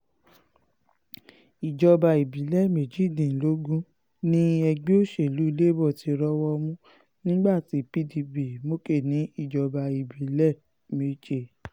ìjọba ìbílẹ̀ méjìdínlógún ni ẹgbẹ́ òsèlú labour ti rọ́wọ́ mú nígbà tí pdp mókè ní ìjọba ìbílẹ̀ méje